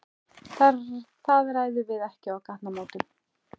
Það ræðum við ekki á gatnamótum.